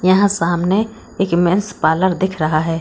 यहां सामने एक मेंस पार्लर दिख रहा है।